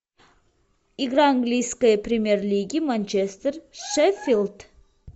игра английской премьер лиги манчестер шеффилд